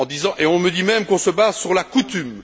Et on me dit même qu'on se base sur la coutume.